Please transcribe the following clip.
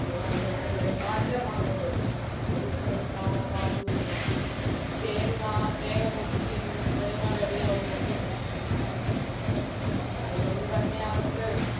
മൂവാണ്ടൻ അങ്ങനെ പല മാങ്ങകളും എനിക്കങ്ങനെ കാണാപ്പാടമൊന്നും അറിയില്ല തേങ്ങ തേങ്ങ കൊത്തിയതും തേങ്ങ വെള്ളവും ഒക്കെ ഒഴിച്ചിരുന്നു അത് കൊണ്ട് തന്നെ അവർക്ക്